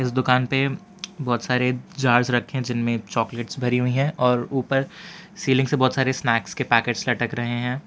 इस दुकान पे बहोत सारे जार रखें जिनमें चॉकलेट भरी हुई है और ऊपर सीलिंग से बहोत सारे स्नैक्स के पैकेट लटक रहे है।